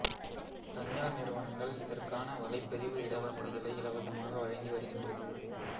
தனியார் நிறுவனங்கள் இதற்கான வலைப்பதிவு இட வசதிகளை இலவசமாக வழங்கி வருகின்றது